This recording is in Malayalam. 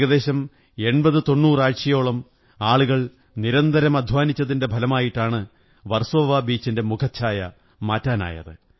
ഏകദേശം 8090 ആഴ്ചയോളം ആളുകൾ നിരന്തരം അധ്വാനിച്ചതിന്റെ ഫലമായിട്ടാണ് വര്സോലവാ ബീച്ചിന്റെ മുഖച്ഛായ മാറ്റാനായത്